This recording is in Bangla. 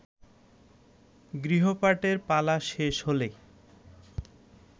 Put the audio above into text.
গৃহপাঠের পালা শেষ হলে